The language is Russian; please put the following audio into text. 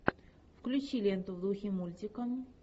включи ленту в духе мультика